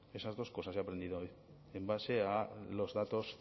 esas dos cosas he aprendido hoy en base a los datos